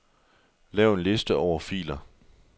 Lav en liste over filer.